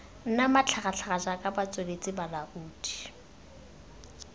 nna matlhagatlhaga jaaka batsweletsi balaodi